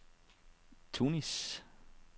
Tunis